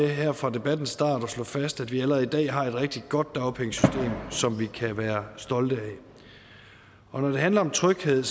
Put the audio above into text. her fra debattens start slå fast at vi allerede i dag har et rigtig godt dagpengesystem som vi kan være stolte af når det handler om tryghed